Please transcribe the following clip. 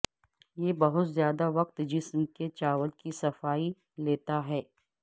یہ بہت زیادہ وقت جسم کے چاول کی صفائی لیتا ہے